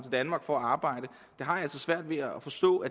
danmark for at arbejde har jeg altså svært ved at forstå